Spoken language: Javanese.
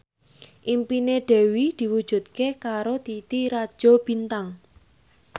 impine Dewi diwujudke karo Titi Rajo Bintang